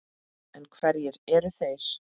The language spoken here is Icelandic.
En hverjir eru þeir?